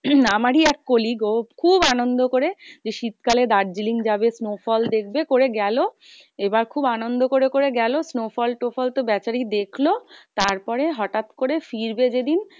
আমারই এক colleagues ও খুব আনন্দ করে শীতকালে দির্জিলিং যাবে snowfall দেখবে করে গেলো। এবার খুব আনন্দ করে করে গেলো snowfall টোফল তো বেচারি দেখলো। তারপরে হটাৎ করে ফিরবে যে দিন